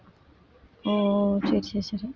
ஓ சரி சரி சரி